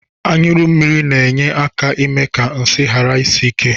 Anyụmmiri na-enye aka eme ka nsị ghara isi ike.